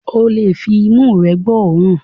Ó lè fi imú rẹ gbọ́ òórùn